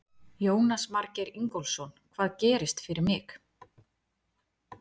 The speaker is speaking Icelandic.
Jónas Margeir Ingólfsson: Hvað gerist fyrir mig?